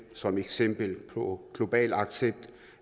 som eksempel på global accept